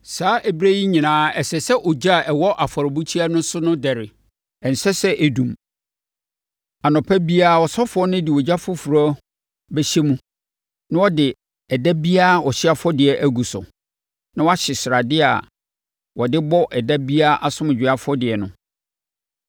Saa ɛberɛ yi nyinaa ɛsɛ sɛ ogya a ɛwɔ afɔrebukyia no so no dɛre. Ɛnsɛ sɛ ɛdum. Anɔpa biara ɔsɔfoɔ no de ogya foforɔ bɛhyɛ mu na ɔde ɛda biara ɔhyeɛ afɔdeɛ agu so, na wahye sradeɛ a wɔde bɔ ɛda biara asomdwoeɛ afɔdeɛ no.